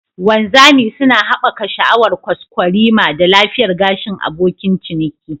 Wanzami suna haɓaka sha'awar kwaskwarima da lafiyar gashin abokin ciniki.